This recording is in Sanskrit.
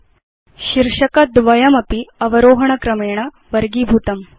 भवान् पश्यति यत् शीर्षक द्वयमपि अवरोहण क्रमेण वर्गीभूतम्